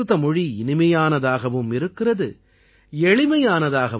साथियो हमारे यहाँ संस्कृत के बारे में कहा गया है